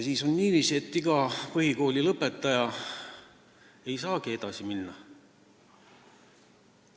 Siis on niiviisi, et iga põhikoolilõpetaja ei saagi edasi õppima minna.